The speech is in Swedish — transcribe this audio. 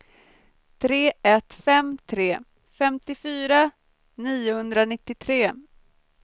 tre ett fem tre femtiofyra niohundranittiotre